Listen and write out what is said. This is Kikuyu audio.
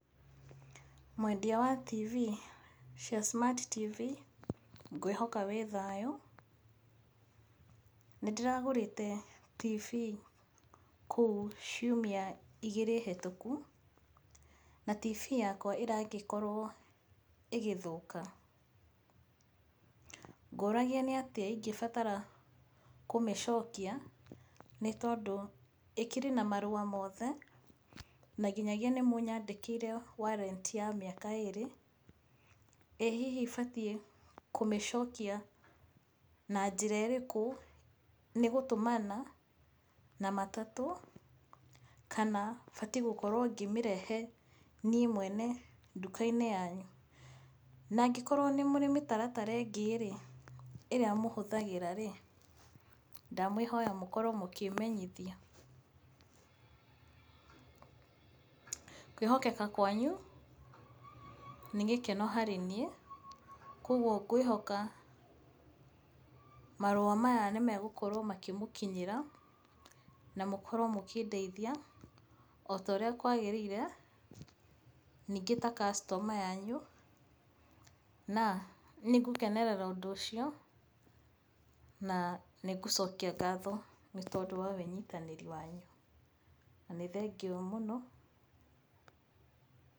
Mwendia wa TV cia Smart TV ngwĩhoka wĩ thayũ. Nĩ ndĩragũrĩte TV kũu ciumia igĩrĩ hĩtũku na TV yakwa ĩragĩkorwo ĩgĩthũka. Ngũragia nĩ atĩa ingĩbatara kũmĩcokia nĩ tondũ ĩkĩrĩ na marũa mothe na nginyagia nĩ mũnyandĩkĩire Warranty ya mĩaka ĩĩrĩ. ĩĩ hihi batiĩ kũmĩcokia na njĩra ĩrĩkũ? Nĩ gũtũmana na matatũ kana batiĩ gũkorwo ngĩmĩrehe niĩ mwene nduka-inĩ yanyu? Na angĩkorwo nĩ mũrĩ mĩtaratara ĩngĩ rĩ, ĩrĩa mũhũthagĩra rĩ, ndamwĩhoya mũkorwo mũkĩmenyithia. Kwĩhokeka kwanyu nĩ gĩkeno harĩ niĩ koguo ngwĩhoka marũa maya nĩ megũkorwo makĩmũkinyĩra na mũkorwo mũkĩndeithia o ta ũrĩa kwaagĩrĩire ningĩ ta customer yanyu. Na nĩngũkenerera ũndũ ũcio na nĩ ngũcokia ngatho nĩ tondũ wa wĩnyitanĩri wanyu. Na nĩ thengiũ mũno...